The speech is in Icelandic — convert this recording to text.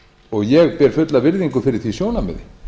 og ég ber fulla virðingu fyrir því sjónarmiði